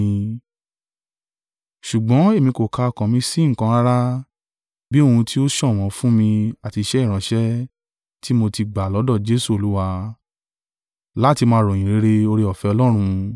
Ṣùgbọ́n èmi kò ka ọkàn mi sí nǹkan rárá bi ohun tí ó ṣọ̀wọ́n fún mi àti iṣẹ́ ìránṣẹ́ tí mo tí gbà lọ́dọ̀ Jesu Olúwa, láti máa ròyìn ìyìnrere oore-ọ̀fẹ́ Ọlọ́run.